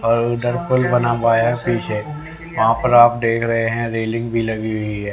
और दर्पण बना हुआ है पीछे वहां पर आप देख रहे है रेलिंग भी लगी हुई है।